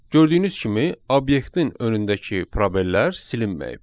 Gördüyünüz kimi obyektin önündəki probellər silinməyib.